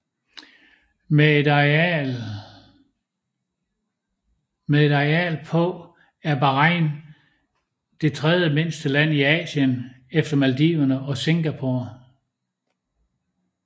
Med et areal på er Bahrain det tredje mindste land i Asien efter Maldiverne og Singapore